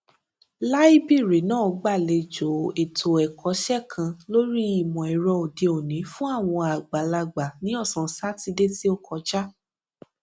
láíbìrì náà gbàlejò ètò ẹkọṣẹ kan lórí ìmọẹrọ òdeòní fún àwọn àgbàlagbà ní ọsán sátidé tí ó kọja